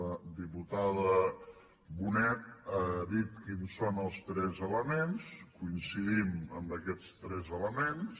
la diputada bonet ha dit quins són els tres elements coincidim en aquests tres elements